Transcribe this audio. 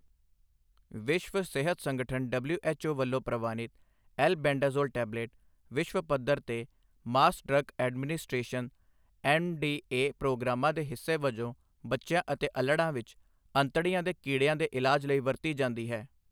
ਵਿਸ਼ਵ ਸਿਹਤ ਸੰਗਠਨ ਡਬਲਿਊ ਐੱਚ ਓ ਵੱਲੋਂ ਪ੍ਰਵਾਨਿਤ ਐਲ-ਬੇਂਡਾਜ਼ੋਲ ਟੈਬਲੇਟ, ਵਿਸ਼ਵ ਪੱਧਰ ਤੇ mass drug administration M D A ਪ੍ਰੋਗਰਾਮਾਂ ਦੇ ਹਿੱਸੇ ਵਜੋਂ ਬੱਚਿਆਂ ਅਤੇ ਅੱਲੜ੍ਹਾਂ ਵਿੱਚ ਅੰਤੜੀਆਂ ਦੇ ਕੀੜਿਆਂ ਦੇ ਇਲਾਜ ਲਈ ਵਰਤੀ ਜਾਂਦੀ ਹੈ।